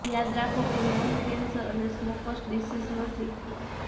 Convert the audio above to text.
યાદ રાખો કે લંગ કેન્સર એ સ્મોકર્સ ડિસીઝ નથી